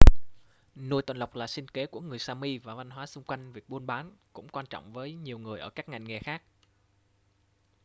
nuôi tuần lộc là sinh kế của người sami và văn hóa xung quanh việc buôn bán cũng quan trọng với nhiều người ở các ngành nghề khác